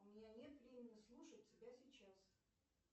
у меня нет времени слушать тебя сейчас